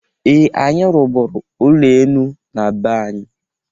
Ee! Anyị rụbụrụ ụlọ enu na be anyị.